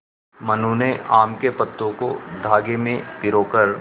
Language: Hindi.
मनु ने आम के पत्तों को धागे में पिरो कर